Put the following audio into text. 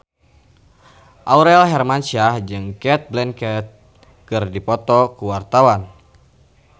Aurel Hermansyah jeung Cate Blanchett keur dipoto ku wartawan